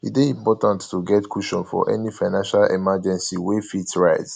e dey important to get cushion for any financial emergency wey fit arise